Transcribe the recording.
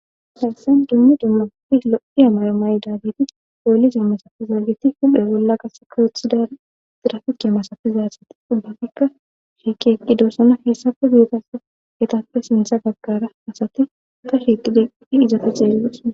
Hayssaen dummi dumma lo7i amay maydaliti poolise masafizaagiti hudhe bolla gase kawuthida dirafike masafizaatsati dubbafikka shiikeqqi doosana heessafe beetas hetapfe sintha gaggara asati ta shiqi diqii izata ceelles.